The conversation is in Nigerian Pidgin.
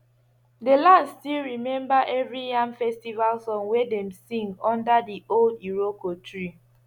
the land still remember every yam festival song wey dem sing under the old iroko tree